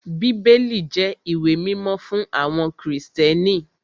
Bíbélì jẹ́ ìwé mímọ́ fún àwọn Krìstẹ́nì